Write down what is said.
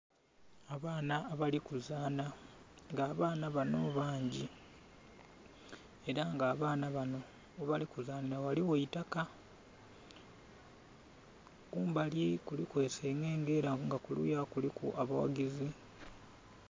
Abaana abalikuzana nga abaana bano bangi era nga abaana bano gyebali kuzanhira nga ghaligho eitaka. Kumbali kuliku esengenge era nga kuluya kuliku abawagezi.